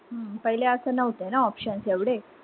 हम्म पैले अस नव्हत ना options वगैरे